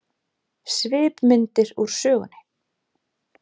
Svipmyndir úr sögunni